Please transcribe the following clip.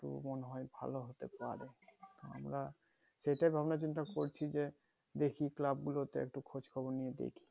মনে হয় ভালো হতে পারে আমরা সেটাই ভাবনা চিন্তা করছি যে দেখি club গুলোতে একটু খোঁজ খবর নিয়ে দেখি